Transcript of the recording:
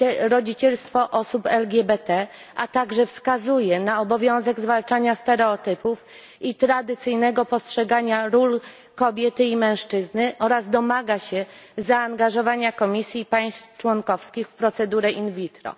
rodzicielstwo osób LGBT, a także wskazuje na obowiązek zwalczania stereotypów i tradycyjnego postrzegania ról kobiety i mężczyzny oraz domaga się zaangażowania Komisji i państw członkowskich w procedurę in vitro.